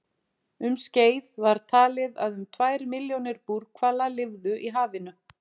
Um skeið var talið að um tvær milljónir búrhvala lifðu í hafinu.